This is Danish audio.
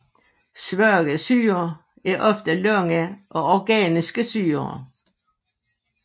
Svage syrer er ofte lange og organiske syrer